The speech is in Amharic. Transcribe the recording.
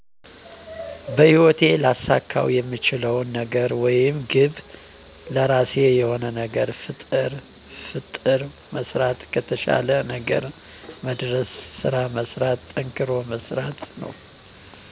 በህይወቴ ላሳካውየምችለው ነገርወይም ግብ ለራሴ የሆነ ነገር ፍጥር መሥራት ከተሻለ ነገር መድርስ ስራመስራት ጠንክሮመሥራት